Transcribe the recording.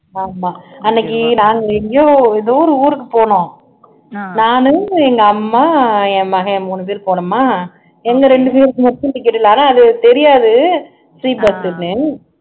ஆமா அன்னைக்கு நாங்க எங்கயோ எதோ ஒரு ஊருக்கு போனோம் நானு எங்க அம்மா என் மகன் மூணு பேரும் போனோமா எங்க ரெண்டு பேருக்கு மட்டும் ticket இல்லன்னாரா அது தெரியாது free bus ன்னு